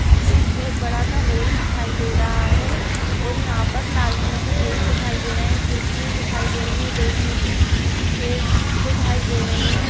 एक बहुत बड़ा सा हॉल दिखाई दे रहा है और यहाँ पर लाल कलर का गेट दिखाई दे रहा है खिड़कियाँ दिखाई दे रही हैं बैठने की चेयर्स दिखाई दे रही हैं और --